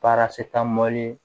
Baara se taa